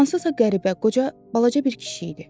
Hansısa qəribə, qoca, balaca bir kişi idi.